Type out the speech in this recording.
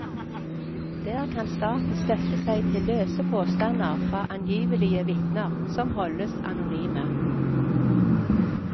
Der kan staten støtte seg til løse påstander fra angivelige vitner, som holdes anonyme.